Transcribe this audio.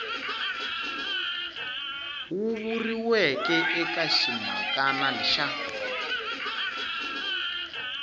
wu vuriweke eka ximhakana xa